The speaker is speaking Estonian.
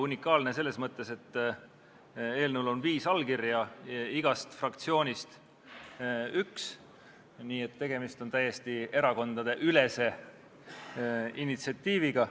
Unikaalne selles mõttes, et eelnõul on viis allkirja, igast fraktsioonist üks, nii et tegemist on täiesti erakondadeülese initsiatiiviga.